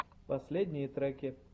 последние треки